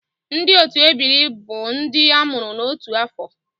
Ndị otu ebiri bụ ndị a mụrụ n'otu afọ